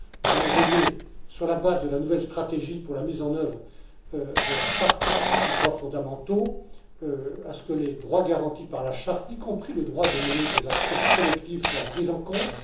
Nous allons veiller, sur la base de la nouvelle stratégie pour la mise en œuvre de la Charte des droits fondamentaux, à ce que les droits garantis par la Charte, y compris le droit de mener des actions collectives, soient pris en compte.